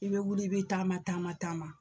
I be wuli i be taama taama taama.